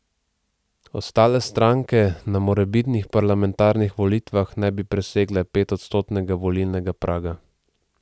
Ostale stranke na morebitnih parlamentarnih volitvah ne bi presegle petodstotnega volilnega praga.